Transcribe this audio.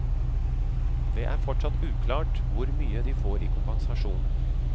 Det er fortsatt uklart hvor mye de får i kompensasjon.